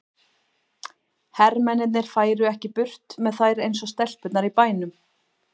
Hermennirnir færu ekki burt með þær eins og stelpurnar í bænum.